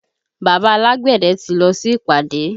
Bàbá alágbẹ̀dẹ ti lọ sí ìpàdé